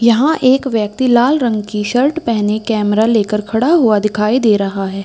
यहां एक व्यक्ति लाल रंग की शर्ट पहने कैमरा लेकर खड़ा हुआ दिखाई दे रहा है।